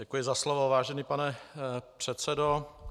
Děkuji za slovo, vážený pane předsedo.